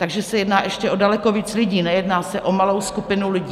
Takže se jedná ještě o daleko víc lidí, nejedná se o malou skupinu lidí.